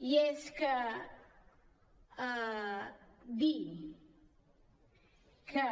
i és que dir que